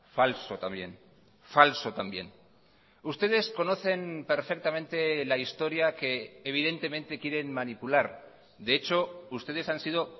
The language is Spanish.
falso también falso también ustedes conocen perfectamente la historia que evidentemente quieren manipular de hecho ustedes han sido